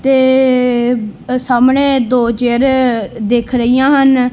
ਤੇ ਸਾਹਮਣੇ ਅ ਦੋ ਚੇਅਰੇ ਦਿੱਖ ਰਹੀਆਂ ਹਨ।